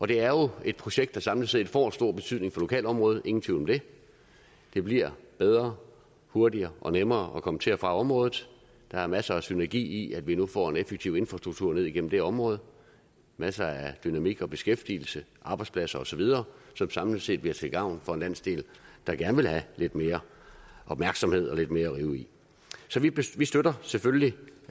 det er jo et projekt der samlet set får stor betydning for lokalområdet ingen tvivl om det det bliver bedre og hurtigere og nemmere at komme til og fra området der er masser af synergi i at vi nu får en effektiv infrastruktur ned igennem det område masser af dynamik og beskæftigelse arbejdspladser osv som samlet set bliver til gavn for en landsdel der gerne vil have lidt mere opmærksomhed og lidt mere at rive i så vi støtter selvfølgelig